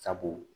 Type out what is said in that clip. Sabu